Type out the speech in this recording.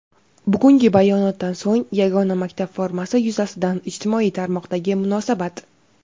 Bugungi bayonotdan so‘ng yagona maktab formasi yuzasidan ijtimoiy tarmoqdagi munosabat.